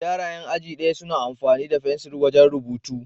Yara 'yan aji ɗaya suna amfani da fensil wajen rubutu.